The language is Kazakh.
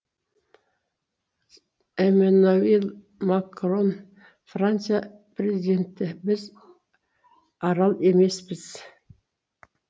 эммануэль макрон франция президенті біз арал емеспіз